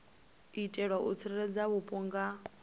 itela u tsireledza vhupo nga